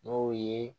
N'o ye